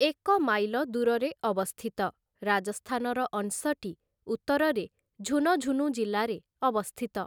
ଏକ ମାଇଲ ଦୂରରେ ଅବସ୍ଥିତ, ରାଜସ୍ଥାନର ଅଂଶଟି ଉତ୍ତରରେ ଝୁନଝୁନୁ ଜିଲ୍ଲାରେ ଅବସ୍ଥିତ ।